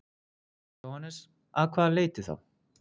Jóhannes: Að hvaða leyti þá?